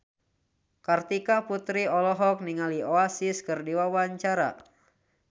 Kartika Putri olohok ningali Oasis keur diwawancara